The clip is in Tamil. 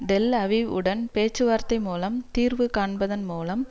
டெல் அவிவ் உடன் பேச்சுவார்த்தை மூலம் தீர்வு காண்பதன் மூலம்